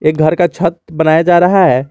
घर का छत बनाया जा रहा है।